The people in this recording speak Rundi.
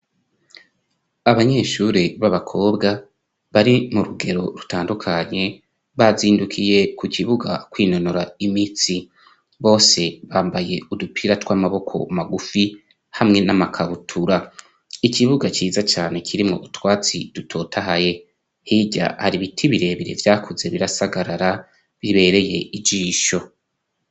Abanyeshuri b'abakobwa bari mu rugero rutandukanye, bazindukiye ku kibuga kwinonora imitsi, bose bambaye udupira tw'amaboko magufi hamwe n'amakabutura. Ikibuga ciza cane kirimo utwatsi dutotahaye, hirya hari ibiti birebere vyakuze birasagarara bibereye ijisho.